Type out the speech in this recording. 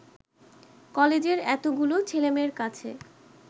কলেজের এতগুলো ছেলেমেয়ের কাছে